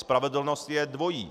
Spravedlnost je dvojí.